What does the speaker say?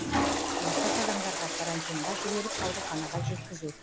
науқас адамдарға карантинға жіберіп ауруханаға жеткізу